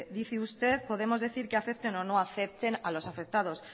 dice usted podemos decir que afecten o no afecten a los afectados